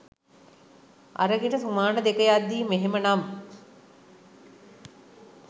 අරගෙන සුමාන දෙක යත්දි මෙහෙමනම්